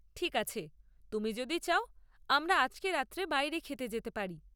ঠিক আছে, তুমি যদি চাও আমরা আজকে রাত্রে বাইরে খেতে যেতে পারি।